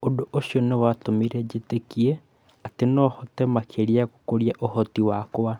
Ũndũ ũcio nĩ watũmire njĩtĩkie atĩ nohote makĩria gũkũria ũhoti wakwa